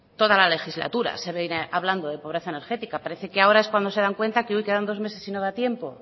toda la legislatura se viene hablando de pobreza energética parece que ahora es cuando se dan cuenta que quedan dos meses y no da tiempo